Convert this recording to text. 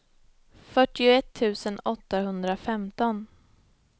fyrtioett tusen åttahundrafemton